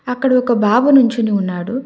అక్కడ ఒక బాబు నుంచొని ఉన్నాడు.